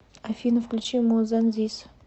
афина включи мо зан зис